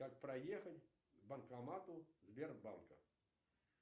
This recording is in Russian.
как проехать к банкомату сбербанка